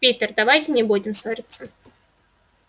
питер давайте не будем ссориться